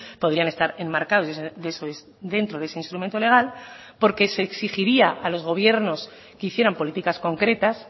podrían estar enmarcados dentro de ese instrumento legal porque se exigiría a los gobiernos que hicieran políticas concretas